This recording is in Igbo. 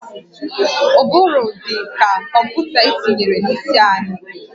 Ụbụrụ dị ka kọmputa etinyere n'isi anyị